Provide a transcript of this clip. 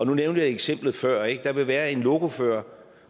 nævnte jeg eksemplet før ikke altså der vil være en lokofører